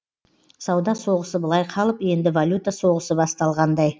сауда соғысы былай қалып енді валюта соғысы басталғандай